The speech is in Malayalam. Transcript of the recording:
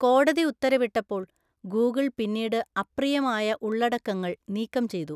കോടതി ഉത്തരവിട്ടപ്പോൾ ഗൂഗിൾ പിന്നീട് അപ്രിയമായ ഉള്ളടക്കങ്ങൾ നീക്കം ചെയ്തു.